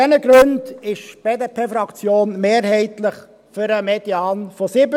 Aus diesen Gründen ist die BDP-Fraktion mehrheitlich für den Median von 70.